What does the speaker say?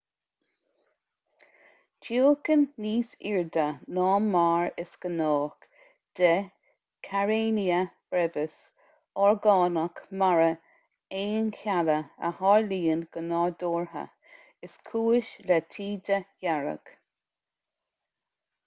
tiúchan níos airde ná mar is gnách de karenia brevis orgánach mara aoncheallach a tharlaíonn go nádúrtha is cúis le taoide dhearg